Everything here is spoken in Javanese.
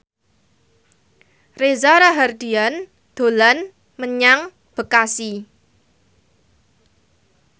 Reza Rahardian dolan menyang Bekasi